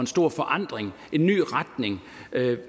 stor forandring en ny retning